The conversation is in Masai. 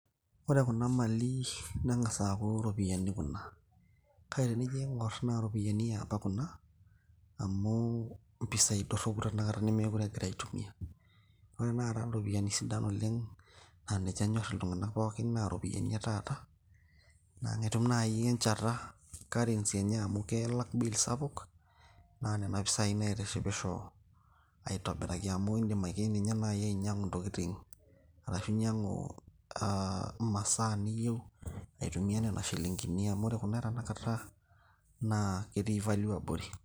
Ore kuna mali neng'asa aku iropiyiani kuna. Kake tenijo aing'or na iropiyiani eapa kuna, amu impisai dorropu tanakata nemekure egurai aitumia. Ore tanakata ropiyaiani sidan oleng',na ninche enyor iltung'anak pookin na ropiyaiani e taata. Na enitum nai enchata, currency enye amu kelak bill sapuk, na nena pisai naitishipisho aitobiraki amu idim ake ninye nai ainyang'u intokiting',arashu inyang'u ah imasaa niyieu, aitumia nena shilinkini amu ore kuna e tanakata, naa ketii value abori.